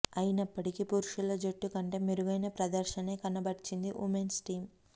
అయినప్పటికీ పురుషుల జట్టు కంటే మెరుగైన ప్రదర్శనే కనబర్చింది ఉమెన్స్ టీం